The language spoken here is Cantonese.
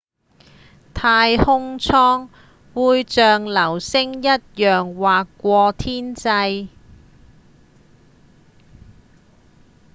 太空艙會像流星一樣劃過天際